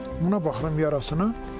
Buna baxıram yarasına.